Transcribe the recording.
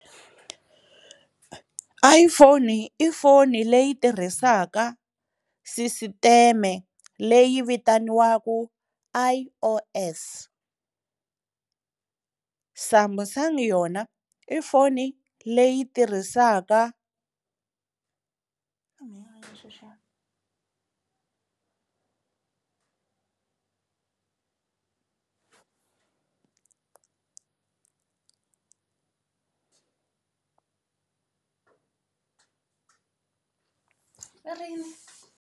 iPhone i foni leyi tirhisaka sisiteme leyi vitaniwaku I_O_S, Samsung yona i foni leyi yi tirhisaka .